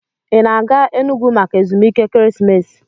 Ị na-aga Enugwu maka ezumike ekeresimesi?